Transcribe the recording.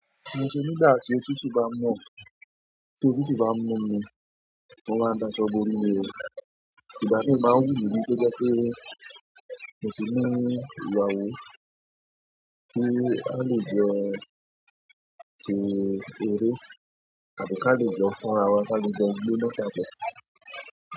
Mo ṣe nígbà tí otutú ba ń mu, ti otutú ba mu mi, mo máa ń da ṣọ́ bo rì ní o. Ìgbà míì, ó máa ń wù mí kó jẹ́ pé mo ti ní ìyàwó, torí a lè jọ ṣe eré àbí ká kẹ́ jọ fọ́ra wa, ká lè jọ gbóná.